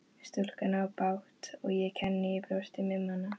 Stúlkan á bágt og ég kenni í brjósti um hana.